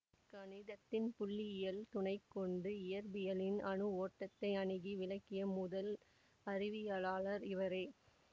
கணிதத்தின் புள்ளியியல் துணை கொண்டு இயற்பியலின் அணு ஓட்டத்தை அணுகி விளக்கிய முதல் அறிவியலாளர் இவரே